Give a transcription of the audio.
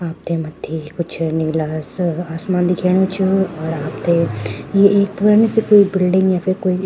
आपथे मथ्थी कुछ नीला सा आसमान दिखेणु च अर आपथे ये एक पुरानी सी कुई बिलडिंग या फिर कोई --